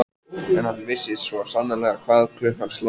En hann vissi svo sannarlega hvað klukkan sló.